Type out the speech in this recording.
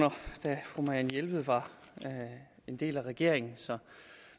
da fru marianne jelved var en del af regeringen